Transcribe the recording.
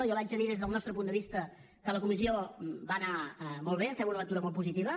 jo li haig de dir des del nostre punt de vista que la comissió va anar molt bé en fem una lectura molt positiva